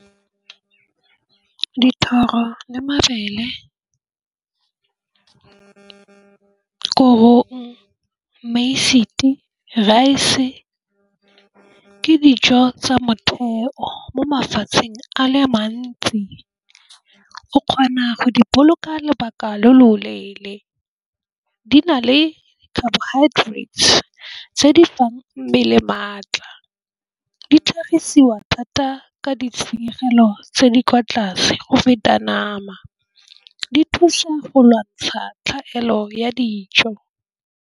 Dithoro le mabele, korong rice. Ke dijo tsa temothuo mo mafatsheng a le mantsi ke kgona go di boloka lobaka lo loleele di na le carbohydrates tse di fang mmele maatla. Di tlhagisiwa thata ka ditshenyegelo tse di kwa tlase go feta nama di thusa go lwantsha tlhaelo ya dijo.